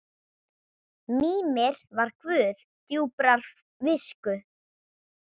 Mímir var guð djúprar visku.